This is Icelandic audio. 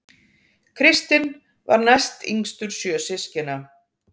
Kristinn var næstyngstur sjö systkina